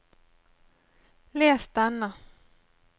les denne